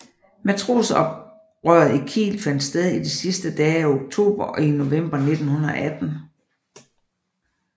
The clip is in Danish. Matrosoprøret i Kiel fandt sted i de sidste dage af oktober og i november 1918